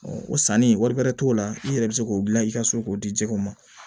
o sanni wari bɛrɛ t'o la i yɛrɛ bɛ se k'o dilan i ka so k'o di jɛgɛw ma